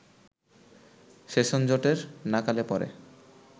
সেশনজটের নাকালে পড়ে